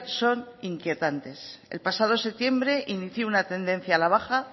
son inquietantes el pasado septiembre inició una tendencia a la baja